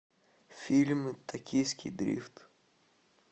фильм токийский дрифт